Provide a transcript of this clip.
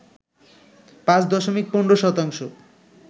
৫ দশমিক ১৫ শতাংশ